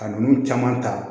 Ka ninnu caman ta